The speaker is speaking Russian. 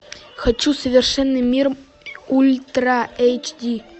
хочу совершенный мир ультра эйч ди